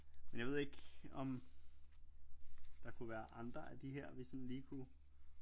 Men jeg ved ikke om der kunne være andre af de her vi sådan lige kunne